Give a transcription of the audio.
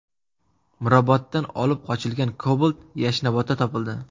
Miroboddan olib qochilgan Cobalt Yashnobodda topildi.